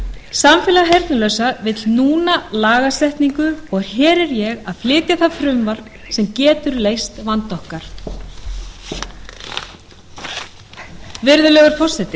samfélag heyrnarlausra vill núna lagasetningu og hér er ég að flytja það frumvarp sem getur leyst vanda okkar virðulegur forseti